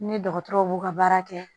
Ni dɔgɔtɔrɔw b'u ka baara kɛ